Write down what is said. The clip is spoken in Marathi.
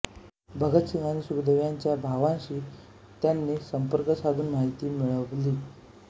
भगतसिंग आणि सुखदेव यांच्या भावांशी त्यांनी संपर्क साधून माहिती मिळवली